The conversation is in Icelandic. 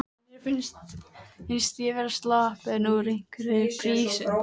Mér fannst ég vera sloppin úr einhverri prísund.